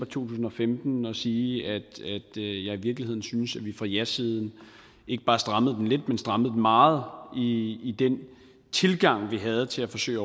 tusind og femten og sige at jeg i virkeligheden syntes at vi fra jasiden ikke bare strammede den lidt men strammede den meget i i den tilgang vi havde til at forsøge